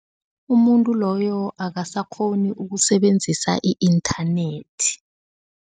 Umuntu loyo akasakghoni ukusebenzisa i-inthanethi.